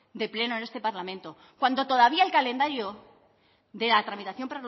de pleno en este parlamento cuando todavía el calendario de la tramitación